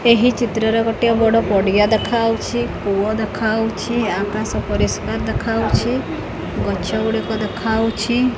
ଏହି ଚିତ୍ର ରେ ଗୋଟିଏ ବଡ ପଡିଆ ଦେଖାହଉଛି କୂଅ ଦେଖାହଉଛି ଆକାଶ ପରିଷ୍କାର ଦେଖାହଉଛି ଗଛ ଗୁଡ଼ିକ ଦେଖାହଉଛି।